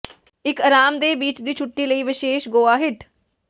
ਇੱਕ ਆਰਾਮਦੇਹ ਬੀਚ ਦੀ ਛੁੱਟੀ ਲਈ ਵਿਸ਼ੇਸ਼ ਗੋਆ ਹਿਟ